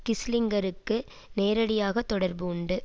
கிஸ்ஸிங்கருக்கு நேரடியாக தொடர்பு உண்டு